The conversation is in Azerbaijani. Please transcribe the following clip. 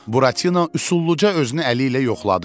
Buratino üsulluca özünü əli ilə yoxladı.